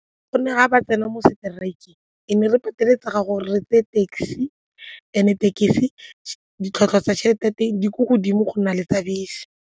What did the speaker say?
Gonne ga ba tsena mo strike-eng re ne re pateletsega gore re tseye taxi and then taxi ditlhwatlhwa tsa tšhelete ko teng di ko godimo go na le tsa bese.